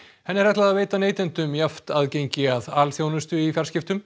henni er ætlað að veita neytendum jafnt aðgengi að alþjónustu í fjarskiptum